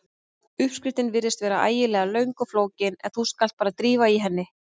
Uppskriftin virðist vera ægilega löng og flókin en þú skalt bara drífa í henni.